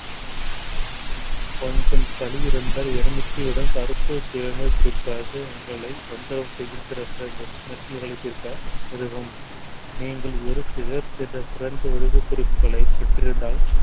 கொஞ்சம் சளி இருந்தால் எலுமிச்சையுடன் கருப்பு தேநீர் குடிப்பது உங்களை தொந்தரவு செய்யும் உதவும் நீங்கள் குறிப்புகளை பெற்றிருந்தால்